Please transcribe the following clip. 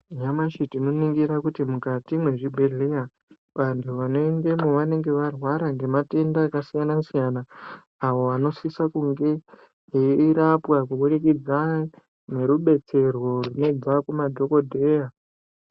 Nyamashi tinoningira kuti mukati mwezvibhedheya, vantu vanoendemo vanenge varwara nematenda akasiyana-siyana, awo anosiso kunge eirapwa ngemadhokodheya, kubudikidza ngerudetserwo rwunobva kumadhokodheya.